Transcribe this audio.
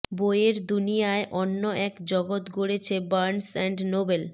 বইয়ের দুনিয়ায় অন্য এক জগৎ গড়েছে বার্নস অ্যান্ড নোবেল